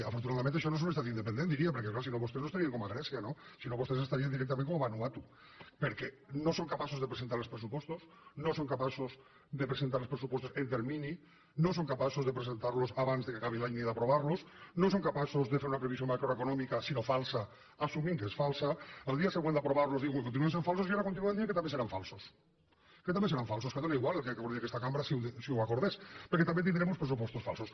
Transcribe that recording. afortunadament això no és un estat independent diria perquè clar si no vostès no estarien com a grècia no sinó que vostès estarien directament com a vanuatu perquè no són capaços de presentar els pressupostos no són capaços de presentar els pressupostos en termini no són capaços de presentar los abans que acabi l’any ni d’aprovar los no són capaços de fer una previsió macroeconomia sinó falsa assumint que és falsa el dia següent d’aprovar los diuen que continuen sent falsos i ara continuen dient que també seran falsos que dóna igual el que acordi aquesta cambra si ho acordés perquè també tindrem uns pressupostos falsos